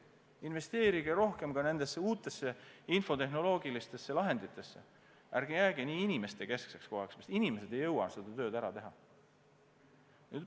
Investeerige rohkem uutesse infotehnoloogilistesse lahenditesse, ärge jääge nii inimestekeskseks, sest inimesed ei jõua seda tööd ära teha.